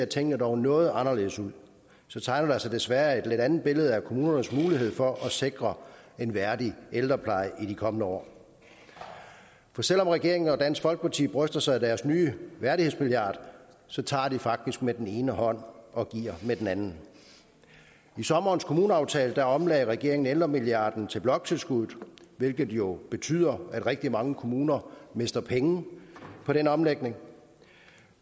tingene dog noget anderledes ud så tegner der sig desværre et lidt andet billede af kommunernes mulighed for at sikre en værdig ældrepleje i de kommende år for selv om regeringen og dansk folkeparti bryster sig af deres nye værdighedsmilliard så tager de faktisk med den ene hånd og giver med den anden i sommerens kommuneaftale omlagde regeringen ældremilliarden til bloktilskuddet hvilket jo betyder at rigtig mange kommuner mister penge på den omlægning